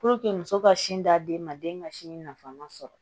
muso ka sin d'aden ma den ka sinji nafama sɔrɔ